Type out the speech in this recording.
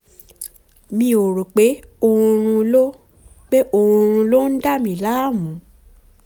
mi ò rò pé oorun ló pé oorun ló ń dà mí láàmú